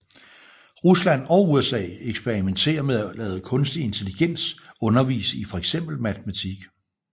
Rusland og USA eksperimenterer med at lade kunstig intelligens undervise i fx matematik